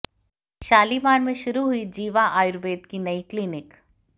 शालीमार में शुरू हुई जीवा आयुर्वेद की नई क्लीनिक